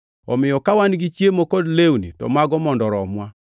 Omiyo ka wan gi chiemo kod lewni to mago mondo oromwa.